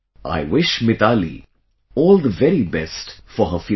I wish Mithali all the very best for her future